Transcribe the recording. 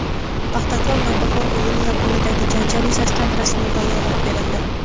"Paxtakor" – "Navbahor" o‘yini yakunidagi janjal yuzasidan rasmiy bayonot berildi;.